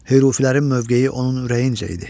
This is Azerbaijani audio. Hürufilərin mövqeyi onun ürəyincə idi.